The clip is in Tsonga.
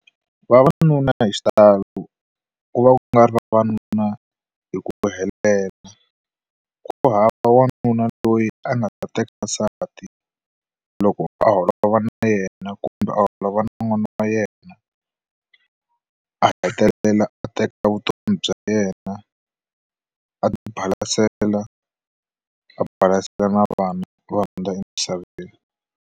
Vavanuna hi xitalo ku va ku nga ri vavanuna hi ku helela ku hava wanuna loyi a nga ta teka nsati loko a holova va na yena kumbe a holava na n'wana wa yena a hetelela a teka vutomi bya yena a ti balasela a balasela na vana va hundza emisaveni.